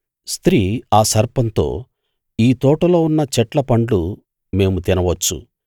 స్త్రీ ఆ సర్పంతో ఈ తోటలో ఉన్న చెట్ల పండ్లు మేము తినవచ్చు